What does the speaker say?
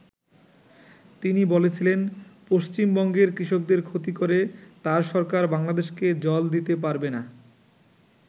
তিনি বলেছিলেন পশ্চিমবঙ্গের কৃষকদের ক্ষতি করে তাঁর সরকার বাংলাদেশকে জল দিতে পারবে না।